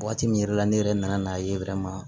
Waati min yɛrɛ la ne yɛrɛ nana n'a ye